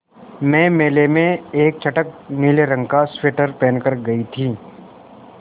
मैं मेले में एक चटख नीले रंग का स्वेटर पहन कर गयी थी